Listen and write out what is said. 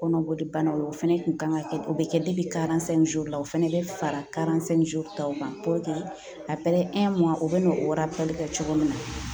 Kɔnɔbolibanaw o fɛnɛ kun kan ka kɛ o bɛ kɛ la o fɛnɛ bɛ fara taw kan a u bɛ n'o kɛ cogo min na